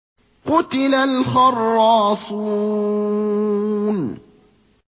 قُتِلَ الْخَرَّاصُونَ